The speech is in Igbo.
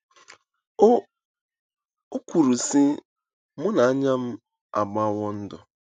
O kwuru, sị: “ Mụ na anya m agbawo ndụ.